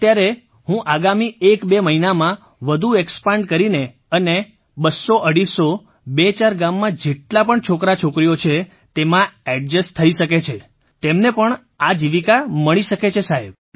અત્યારે હું આગામી એકબે મહિનામાં વધુ એક્સપેન્ડ કરીને અને બસ્સોઅઢીસો બેચાર ગામમાં જેટલા પણ છોકરાછોકરીઓ છે તેમાં ઍડ્જસ્ટ થઈ શકે છે તેમને પણ આજીવિકા મળી શકે છે સાહેબ